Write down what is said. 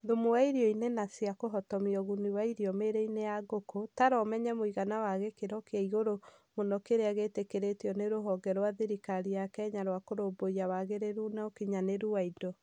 Thumu wa irio-inĩ na cia kũhotomia ũguni wa irio mĩĩrĩ-inĩ ya ngũkũ. Tara ũmenye mũigana wa gĩkĩro kĩa igũrũ mũno kĩrĩa gĩtĩkĩrĩtio nĩ rũhonge rwa thirikari ya Kenya rwa Kũrũmbũiya wagĩrĩru na ukinyanĩru wa indo.